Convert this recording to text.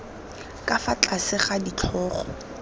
ka fa tlase ga ditlhogo